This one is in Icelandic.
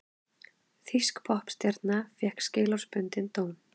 Þýsk poppstjarna fékk skilorðsbundinn dóm